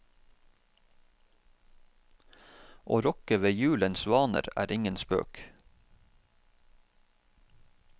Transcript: Å rokke ved julens vaner, er ingen spøk.